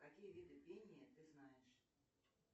какие виды пения ты знаешь